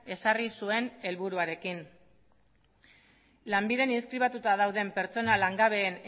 ezarri zuen helburuarekin lanbiden inskribatuta dauden pertsona langabeen